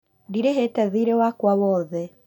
Ndirĩhĩte thiirĩ wakwa wothe